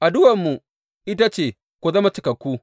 Addu’armu ita ce, ku zama cikakku.